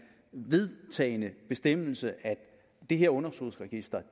vedtagne bestemmelse at det her underskudsregister